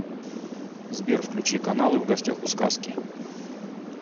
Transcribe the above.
сбер включи каналы в гостях у сказки